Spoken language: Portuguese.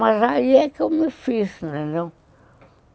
Mas aí é que eu me fiz, entendeu?